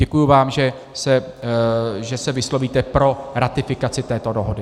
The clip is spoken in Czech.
Děkuji vám, že se vyslovíte pro ratifikaci této dohody.